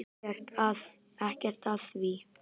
Ekkert að því!